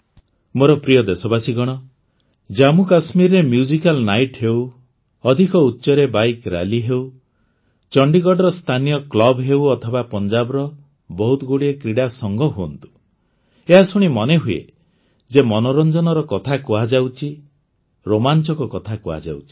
ମୋର ପ୍ରିୟ ଦେଶବାସୀଗଣ ଜାମ୍ମୁକାଶ୍ମୀରରେ ମ୍ୟୁଜିକାଲ୍ ନାଇଟ୍ ହେଉ ଅଧିକ ଉଚ୍ଚରେ ବାଇକ୍ ର୍ୟାଲି ହେଉ ଚଣ୍ଡିଗଡ଼ର ସ୍ଥାନୀୟ କ୍ଲବ୍ ହେଉ ଅଥବା ପଞ୍ଜାବର ବହୁତଗୁଡ଼ିଏ କ୍ରୀଡ଼ା ସଂଘ ହୁଅନ୍ତୁ ଏହା ଶୁଣି ମନେହୁଏ ଯେ ମନୋରଞ୍ଜନର କଥା କୁହାଯାଉଛି ରୋମାଞ୍ଚକ କଥା କୁହାଯାଉଛି